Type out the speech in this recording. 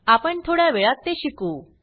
आपण थोड्या वेळात ते शिकू